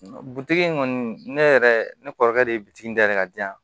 Butigi in kɔni ne yɛrɛ ne kɔrɔkɛ de ye bitigi da ye ka di yan